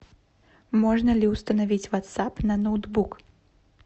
можно ли установить ватсап на ноутбук